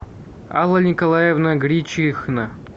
алла николаевна гречихна